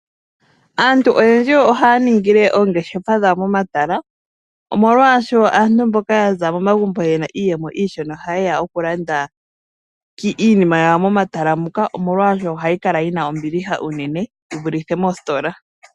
Aantu oyendji ohaya ningile oongeshefa dhawo momatala. Omolwaasho aantu mboka yaza momagumbo ngoka gena iiyemo iishona, oha yeya okulanda iinima yawo momatala muka, omolwaasho ohayi kala yina ombiliha unene yi vulithe moositola.